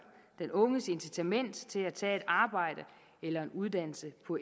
den unges incitament til at tage et arbejde eller en uddannelse på